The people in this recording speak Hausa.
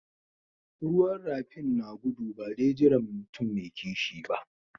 Ruwan rafin na gudu ba de jiran mutum mai kishi ba.